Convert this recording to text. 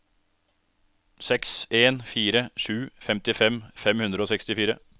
seks en fire sju femtifem fem hundre og sekstifire